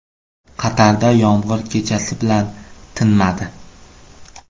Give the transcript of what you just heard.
Qatarda yomg‘ir kechasi bilan tinmadi.